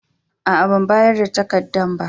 Aa, ban bayar da takadan ba.